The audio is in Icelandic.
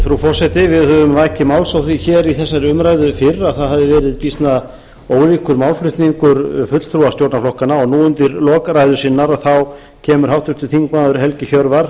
forseti við höfum vakið máls á því hér í þessari umræðu fyrr að það hefði verið býsna ólíkur málflutningur fulltrúa stjórnarflokkanna og nú undir lok ræðu sinnar kemur háttvirtur þingmaður helgi hjörvar